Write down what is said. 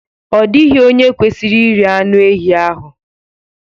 Ọ dịghị onye kwesịrị iri anụ ehi ahụ